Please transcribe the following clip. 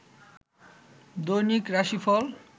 দৈনিক রাশিফল